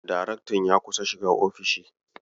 Daraktan ya kusa shiga ofishi.